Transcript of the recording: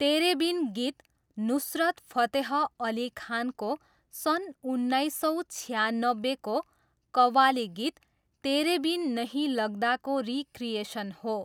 तेरे बिन' गीत नुसरत फतेह अली खानको सन् उन्नाइस सौ छियानब्बेको को कव्वाली गीत 'तेरे बिन नहीं लग्दा' को रिक्रिएसन हो।